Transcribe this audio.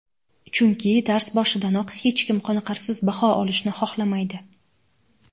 chunki dars boshidanoq hech kim qoniqarsiz baho olishni xohlamaydi.